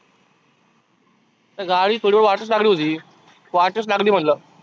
गाडी थोडी वाटच लागली होती. वाटच लागली म्हटलं.